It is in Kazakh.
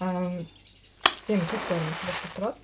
менің туыстарым сол жақта тұрады